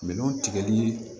Minɛnw tigɛli